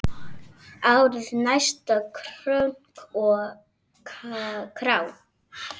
Árið næsta, krunk og krá!